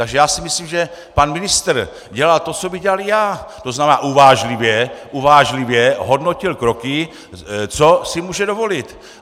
Takže já si myslím, že pan ministr dělal to, co bych dělal i já, to znamená, uvážlivě hodnotil kroky, co si může dovolit.